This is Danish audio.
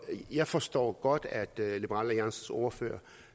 jeg forstår godt at liberal alliances ordfører